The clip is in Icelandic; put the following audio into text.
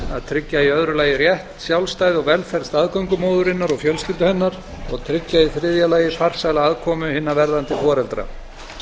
að tryggja í öðru lagi rétt sjálfræði og velferð staðgöngumóðurinnar og fjölskyldu hennar og að tryggja í þriðja lagi farsæla aðkomu hinna verðandi foreldra